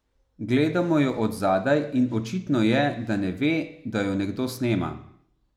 Gledamo jo od zadaj in očitno je, da ne ve, da jo nekdo snema.